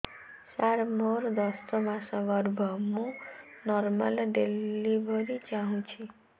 ସାର ମୋର ଦଶ ମାସ ଗର୍ଭ ମୁ ନର୍ମାଲ ଡେଲିଭରୀ ଚାହୁଁଛି